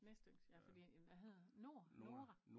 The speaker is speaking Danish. Næstyngst ja fordi hvad hedder Nord Nora?